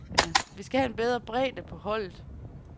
Vi skal have en bedre bredde på holdet.